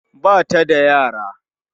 Ba ta da yara